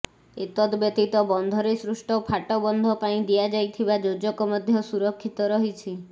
ଏତଦବ୍ୟତୀତ ବନ୍ଧରେ ସୃଷ୍ଟ ଫାଟ ବନ୍ଧ ପାଇଁ ଦିଆଯାଇଥିବା ଯୋଜକ ମଧ୍ୟ ସୁରକ୍ଷିତ ରହିଛି